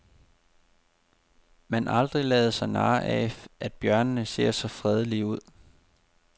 Man aldrig lade sig narre af, at bjørnene ser så fredelige ud.